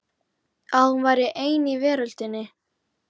Að hún væri ein í veröldinni.